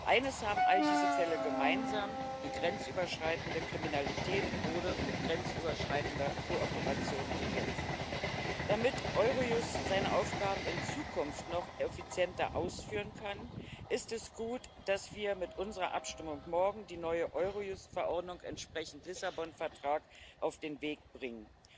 Eines haben all diese Fälle gemeinsam Die grenzüberschreitende Kriminalität wurde mit grenzüberschreitender Kooperation bekämpft. Damit Eurojust ihre Aufgaben in Zukunft noch effizienter ausführen kann, ist es gut, dass wir mit unserer Abstimmung morgen die neue Eurojust Verordnung entsprechend dem Lissabon Vertrag auf den Weg bringen.